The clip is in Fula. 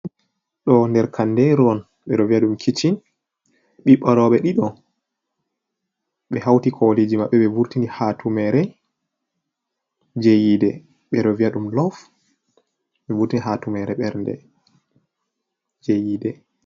Ɗo der kanderu on ɓe ɗo vi'a ɗum kiccin, ɓiɓɓo rooɓe ɗiɗo ɓe hauti koliji maɓɓe ɓe vurtini hatumere je yide be ɗo vi'a ɗum lof, ɓe vurtini haa tumere berde je yide.